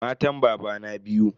Matan babana biyu.